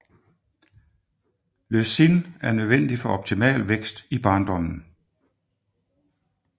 Leucin er nødvendig for optimal vækst i barndommen